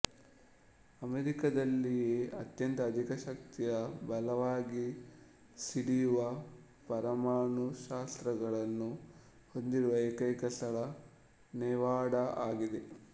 ಅಮೆರಿಕದಲ್ಲಿಯೇ ಅತ್ಯಂತ ಅಧಿಕ ಶಕ್ತಿಯ ಬಲವಾಗಿ ಸಿಡಿಯುವ ಪರಮಾಣು ಶಸ್ತ್ರಾಸ್ತ್ರಗಳನ್ನು ಹೊಂದಿರುವ ಏಕೈಕ ಸ್ಥಳ ನೆವಾಡಾ ಆಗಿದೆ